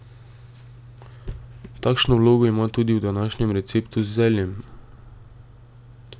Takšno vlogo ima tudi v današnjem receptu z zeljem.